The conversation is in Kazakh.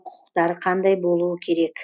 құқықтары қандай болуы керек